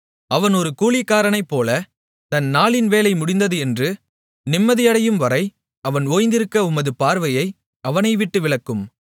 அவன் ஒரு கூலிக்காரனைப்போல தன் நாளின் வேலை முடிந்தது என்று நிம்மதியடையும்வரை அவன் ஓய்ந்திருக்க உமது பார்வையை அவனைவிட்டு விலக்கும்